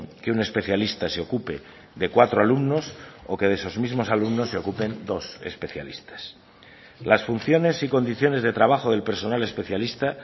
que un especialista se ocupe de cuatro alumnos o que de esos mismos alumnos se ocupen dos especialistas las funciones y condiciones de trabajo del personal especialista